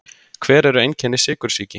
Hver eru einkenni sykursýki?